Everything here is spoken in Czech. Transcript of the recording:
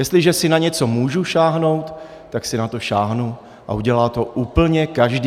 Jestliže si na něco můžu sáhnout, tak si na to sáhnu a udělá to úplně každý.